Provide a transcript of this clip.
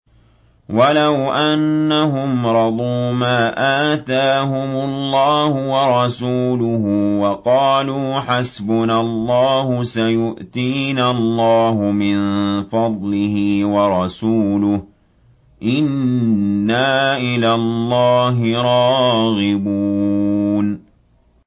وَلَوْ أَنَّهُمْ رَضُوا مَا آتَاهُمُ اللَّهُ وَرَسُولُهُ وَقَالُوا حَسْبُنَا اللَّهُ سَيُؤْتِينَا اللَّهُ مِن فَضْلِهِ وَرَسُولُهُ إِنَّا إِلَى اللَّهِ رَاغِبُونَ